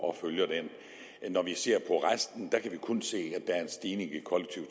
og følger den når vi ser på resten kan vi kun se at der er en stigning i kollektiv